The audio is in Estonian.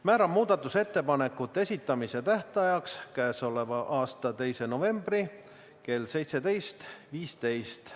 Määran muudatusettepanekute esitamise tähtajaks k.a 2. novembri kell 17 15.